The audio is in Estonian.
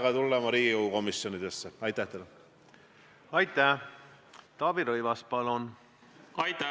Ka teie mainitud juhtumi korral andis ju hinnangu kohus, kas ühel või teisel moel asi lõpetada või mitte.